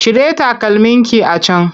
Cire takalmin ki a can!